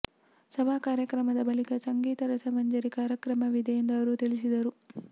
ಸಭಾ ಕಾರ್ಯಕ್ರಮದ ಬಳಿಕ ಸಂಗೀತ ರಸಮಂಜರಿ ಕಾರ್ಯಕ್ರಮವಿದೆ ಎಂದು ಅವರು ತಿಳಿಸಿದರು